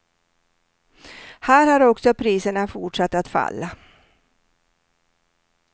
Här har också priserna fortsatt att falla.